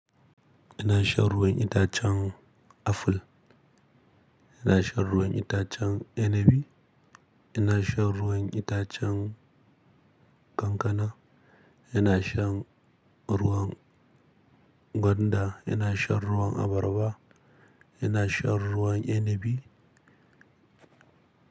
Ina shan ruwan itacen aful. Ina shan ruwan itacen inabi. Ina shan ruwan itacen kankana. Ina shan ruwan gwanda. Ina shan ruwan abarba. Ina shan ruwan inabi.